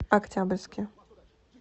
октябрьске